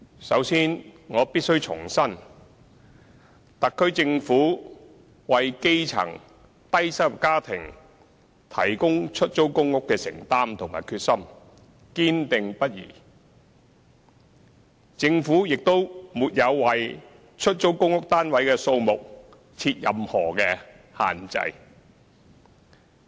首先，我必須重申，特區政府為基層低收入家庭提供出租公屋的承擔及決心堅定不移，政府亦沒有為出租公屋單位的數目設任何限制。